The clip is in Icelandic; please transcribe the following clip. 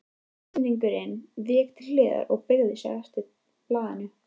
Íslendingurinn vék til hliðar og beygði sig eftir blaðinu.